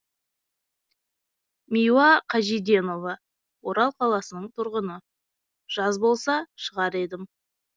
миуа қажиденова орал қаласының тұрғыны жаз болса шығар едім